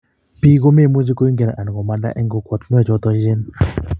bik ko memuchi koingian anan komanda eng kokwatunwek choto echen